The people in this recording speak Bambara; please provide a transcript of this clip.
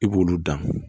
I b'olu dan